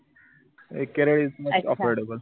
A Kerala is affordable